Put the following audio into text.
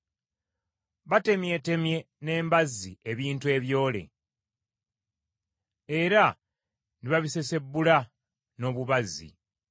Batemyetemye n’embazzi ebintu ebyole, era ne babissessebbula n’obubazzi.